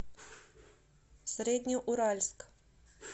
среднеуральск